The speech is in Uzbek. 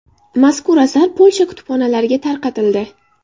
Mazkur asar Polsha kutubxonalariga tarqatildi.